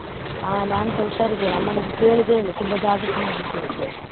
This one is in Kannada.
ಅಹ್ ನಾನ್ಸ ಹುಷಾರ್ ಇದ್ದೇನೆ, ಅಮ್ಮನನ್ನು ಕೇಳಿದೆ ಹೇಳು, ತುಂಬಾ ಜಾಗ್ರತೆ ಮಾಡ್ಲಿಕ್ಕೆ ಹೇಳು ಸ್ವಲ್ಪ.